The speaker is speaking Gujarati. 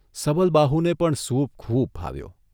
સબલબાહુને પણ સૂપ ખૂબ ભાવ્યો.